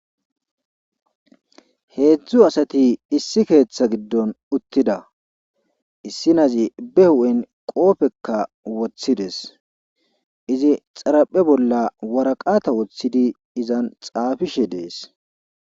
Heedzdzu asati issi keeththa giddon uttida issinazi be hu7en qopheka woththides izi xaraphe bolla woraqatha woththidi izan xaafishe de7ees.